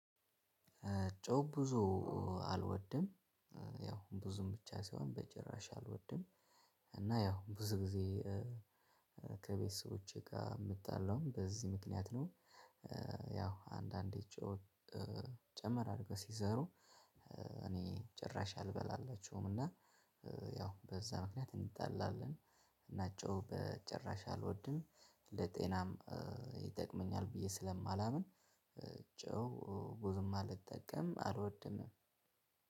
ጮህ ብዙ አልወድም። ያው ብዙም ብቻ ሳይሆን በጭራሽ አልወድም። እና ያው ብዙ ጊዜ ከቤተሰቦቼ ጋር የምጣለውም በዚህ ምክንያት ነው። አንዳንዴ ጨው ጨመር አድርገው ሲሰሩ። እኔ ጭራሽ አልበላላቸውም እና ያው በዛ ምክንያት እንጣላለን። እና ጨው በጭራሽ አልወድም። ለጤናም ይጠቅመኛል ብዬ ስለማላምን ጨው ብዙም አልጠቀም አልወድምም።